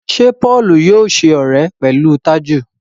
Ṣe Paul yóò ṣe ọrẹ pẹlú Taju?